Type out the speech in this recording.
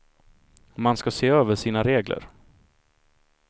Man ska se över sina regler.